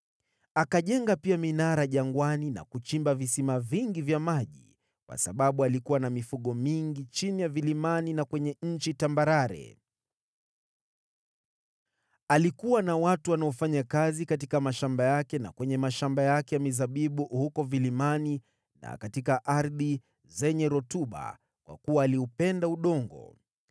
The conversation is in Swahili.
Akajenga pia minara jangwani na kuchimba visima vingi vya maji, kwa sababu alikuwa na mifugo mingi chini ya vilimani na kwenye nchi tambarare. Alikuwa na watu wanaofanya kazi katika mashamba yake na kwenye mashamba yake ya mizabibu huko vilimani na katika ardhi zenye rutuba, kwa kuwa aliupenda udongo.